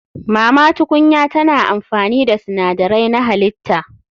Mama tukunya tana amfani da sinadarai na halitta.